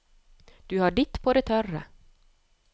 Du har ditt på det tørre.